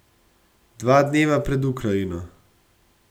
Dva dneva pred Ukrajino.